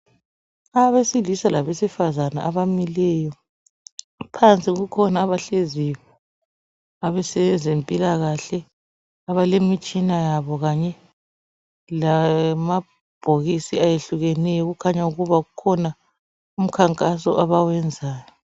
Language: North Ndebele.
abesilisa labesifazana abamileyo kukhona abahleziyo abesezimpilakahle abalemitshina yabo kanye lamabhokisi ayehlukeneyo kukhanya ukuba kukhona umkhankaso abawuyenzayo